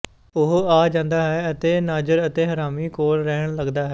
ਉਹ ਆ ਜਾਂਦਾ ਹੈ ਅਤੇ ਨਾਜਰ ਅਤੇ ਹਰਨਾਮੀ ਕੋਲ ਰਹਿਣ ਲੱਗਦਾ ਹੈ